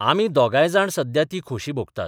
आमी दोगयजाण सध्या ती खोशी भोगतात.